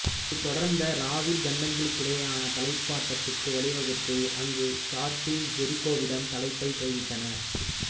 இது தொடர்ந்த ராவில் கண்டங்களுக்கிடையேயான தலைப்பு ஆட்டத்துக்கு வழிவகுத்தது அங்கு ஹார்டி ஜெரிகோவிடம் தலைப்பைக் கைவிட்டார்